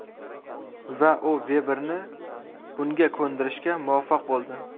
Va u Veberni bunga ko‘ndirishga muvaffaq bo‘ldi.